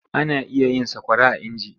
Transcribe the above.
Ana iya yin sakwara a inji.